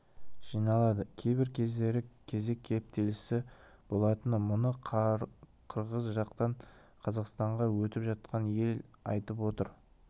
жиналады кейбір кездері кезек кептелісі болады мұны қырғыз жақтан қазақстанға өтіп жатқан ел айтып отыр